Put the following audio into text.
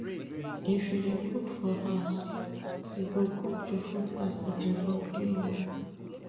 If you dey cook for house, you go cook di food as e dey hungry you.